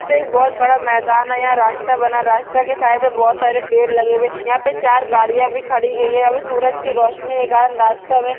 मे बहुत बड़ा मेदान है यह रास्ता बना रास्ता के साइड मे बहुत सारे पेड लगे हुवे यहा पर चार गाड़िया भी खड़ी गई है और सूरज की रोशनी एक रास्ते मे--